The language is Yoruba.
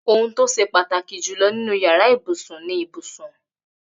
Ohun tó ṣe pàtàkì jù lọ nínú yàrá ibùsùn ni ibùsùn